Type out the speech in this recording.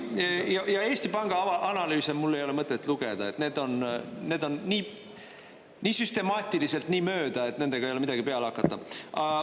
Ja Eesti Panga analüüse mul ei ole mõtet lugeda, need on nii süstemaatiliselt nii mööda, et nendega ei ole midagi peale hakata.